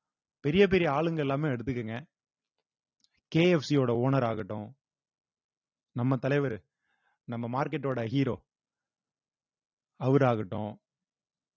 பெரிய பெரிய ஆளுங்க எல்லாமே எடுத்துக்கோங்க கே எப் சி யோட owner ஆகட்டும் நம்ம தலைவரு நம்ம market ஓட hero அவரு ஆகட்டும்